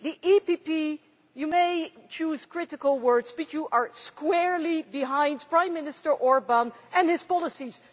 EPP you may choose critical words but you are squarely behind Prime Minister Orbán and his policies.